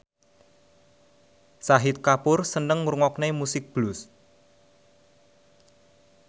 Shahid Kapoor seneng ngrungokne musik blues